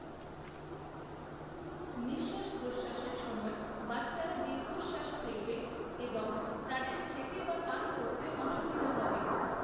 নিঃশ্বাস প্রশ্বাসের সময় বাচ্চারা দীর্ঘশ্বাস ফেলবে এবং তাদের খেতে বা পান করতে অসুবিধা হবে।